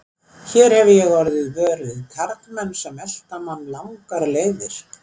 Hér hefi ég orðið vör við karlmenn sem elta mann langar leiðir.